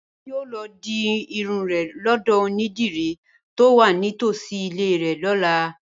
Bímpé yóò lọ di irun rẹ̀ lọ́dọ̀ onídìrí tó wà ní tòsí ilé rẹ̀ lọ́la